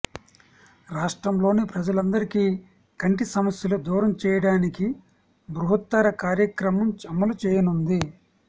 రాష్ట్రంలోని ప్రజలందరికీ కంటి సమస్యలు దూరంచేయడానికి బృహత్తర కార్యక్రమం అమలు చేయనుంది